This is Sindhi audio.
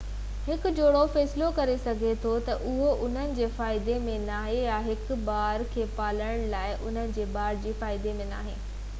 هڪ جوڙو فيصلو ڪري سگهي ٿو ته اهو انهن جي فائدي ۾ ناهي يا هڪ ٻار کي پالڻ لاءِ انهن جي ٻار جي فائدي ۾ ناهي